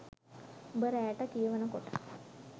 උඹ රෑට කියවනකොට